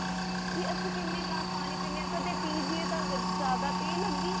ਕੀ ਅਸੀਂ ਕਿੰਨੇ ਗਿਲਾਸ ਪਾਣੀ ਪੀਨੇ ਆ ਕਦੇ ਪੀ ਜਿਏ ਤਾਂ ਜਿਆਦਾ ਤੀਹ ਲਗੀ